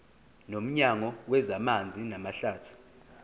nomnyango wezamanzi namahlathi